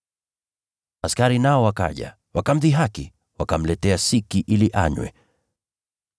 Askari nao wakaja, wakamdhihaki. Wakamletea siki ili anywe,